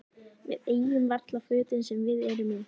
Við eigum varla fötin sem við erum í.